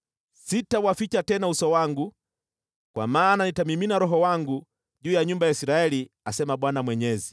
Sitawaficha tena uso wangu, kwa maana nitamimina Roho wangu juu ya nyumba ya Israeli, asema Bwana Mwenyezi.”